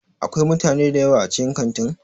Akwai mutane dayawa a cikin Kantin?